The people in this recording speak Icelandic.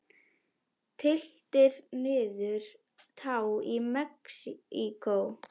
Tylltir niður tá í Mexíkó.